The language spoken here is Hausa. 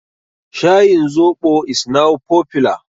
Shayin zoɓo is now popular.